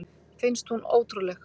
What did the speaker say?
Finnst hún ótrúleg.